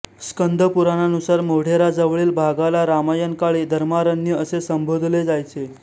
स्कंद पुराणानुसार मोढेरा जवळील भागाला रामायण काळी धर्मारण्य असे संबोधले जायचे